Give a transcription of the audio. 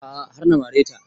A'a har na mare ta